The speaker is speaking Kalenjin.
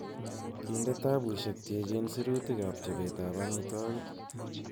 Kinde kitabusiek che echen sirutik ab chobetab amitwogik.